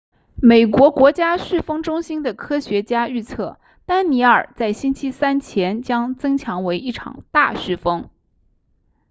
美国国家飓风中心的科学家预测丹妮尔在星期三前将增强为一场大飓风